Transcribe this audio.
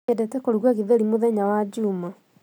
Nyendete kũruga gĩtheri muthenya wa Juma